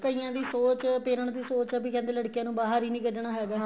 ਕਈਆਂ ਦੀ ਸੋਚ parents ਦੀ ਸੋਚ ਆ ਵੀ ਕਹਿੰਦੇ ਲੜਕੀਆਂ ਨੂੰ ਬਾਹਰ ਹੀ ਨਹੀਂ ਕੱਢਣਾ ਹੈਗਾ